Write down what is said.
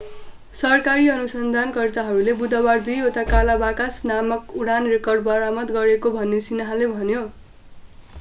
सरकारी अनुसन्धानकर्ताहरूले बुधबार दुईवटा काला बाकस नामक उडान रेकर्डर बरामद गरेको भनेर सिन्ह्वाले भन्यो